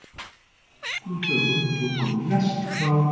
Á nokkrum dögum tókum við lest frá